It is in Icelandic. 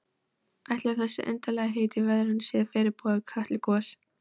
Ætli þessi undarlegheit í veðrinu séu fyrirboði Kötlugoss?